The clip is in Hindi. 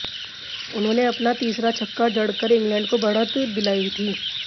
उन्होंने अपना तीसरा छक्का जड़कर इंगलैंड को बढ़त दिलायी थी